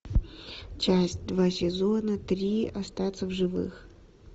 часть два сезона три остаться в живых